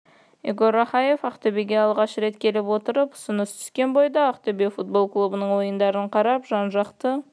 игорь рахаев ақтөбеге алғаш рет келіп отыр ұсыныс түскен бойда ақтөбе футбол клубының ойындарын қарап жан-жақты